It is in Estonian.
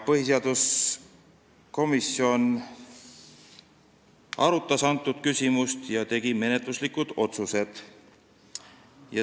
Põhiseaduskomisjon arutas seda küsimust ja tegi menetluslikud otsused.